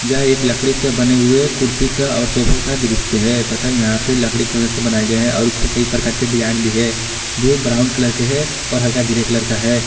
यह एक लकड़ी से बने हुए कुर्सी का और सोफे का दृश्य है तथा यहां पे लकड़ी के मदद से बनाए गए हैं और इस पे कई प्रकार के डिजाइन भी हैं जो ब्राउन कलर के हैं और हल्का ग्रे कलर का है।